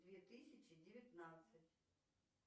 две тысячи девятнадцать